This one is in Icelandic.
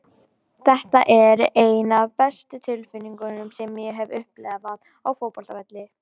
Þetta er ein af bestu tilfinningum sem ég hef upplifað á fótboltavelli.